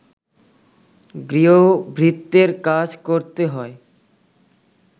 গৃহভৃত্যের কাজ করতে হয়